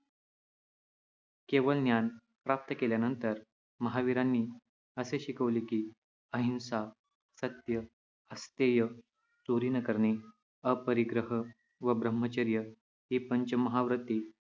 केवल ज्ञान प्राप्त केल्यानंतर महावीरांनी असे शिकवले की अहिंसा, सत्य, अस्तेय चोरी न करणे, अपरिग्रह व ब्रह्मचर्य ही पंचमहाव्रते